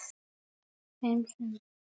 Fimm sumur